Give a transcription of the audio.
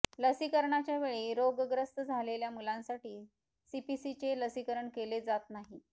लसीकरणाच्या वेळी रोगग्रस्त झालेल्या मुलांसाठी सीपीसीचे लसीकरण केले जात नाही